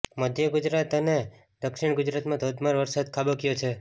મધ્ય ગુજરાત અને દક્ષિણ ગુજરાતમાં ધોધમાર વરસાદ ખાબક્યો છે